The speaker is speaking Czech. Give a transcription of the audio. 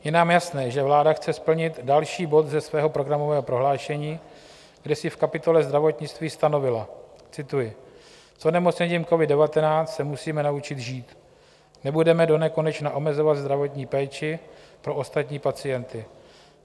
Je nám jasné, že vláda chce splnit další bod ze svého programového prohlášení, kde si v kapitole Zdravotnictví stanovila - cituji: S onemocněním covid-19 se musíme naučit žít, nebudeme donekonečna omezovat zdravotní péči pro ostatní pacienty.